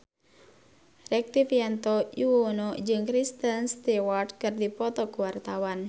Rektivianto Yoewono jeung Kristen Stewart keur dipoto ku wartawan